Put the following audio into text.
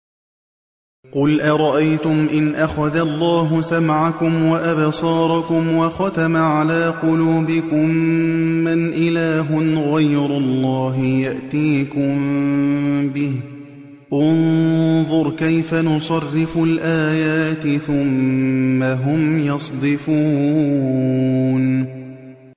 قُلْ أَرَأَيْتُمْ إِنْ أَخَذَ اللَّهُ سَمْعَكُمْ وَأَبْصَارَكُمْ وَخَتَمَ عَلَىٰ قُلُوبِكُم مَّنْ إِلَٰهٌ غَيْرُ اللَّهِ يَأْتِيكُم بِهِ ۗ انظُرْ كَيْفَ نُصَرِّفُ الْآيَاتِ ثُمَّ هُمْ يَصْدِفُونَ